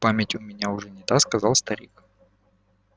память у меня уже не та сказал старик